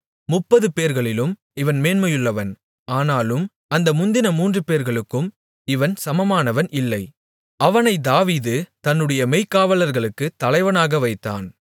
முப்பதுபேர்களிலும் இவன் மேன்மையுள்ளவன் ஆனாலும் அந்த முந்தின மூன்றுபேர்களுக்கும் இவன் சமமானவன் இல்லை அவனை தாவீது தன்னுடைய மெய்க்காவலர்களுக்குத் தலைவனாக வைத்தான்